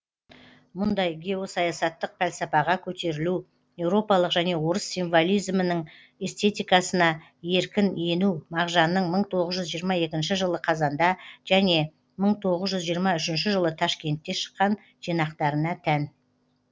мұндай геосаясаттық пәлсәпаға көтерілу еуропалық және орыс символизмінің эстетикасына еркін ену мағжанның мың тоғыз жүз жиырма екінші жылы қазанда және мың тоғыз жүз жиырма үшінші жылы ташкентте шыққан жинақтарына тән